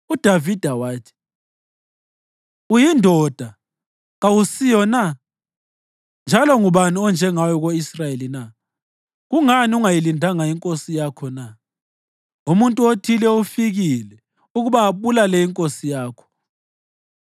UDavida wathi, “Uyindoda, kawusiyo na? Njalo ngubani onjengawe ko-Israyeli na? Kungani ungayilindanga inkosi yakho na? Umuntu othile ufikile ukuba abulale inkosi yakho.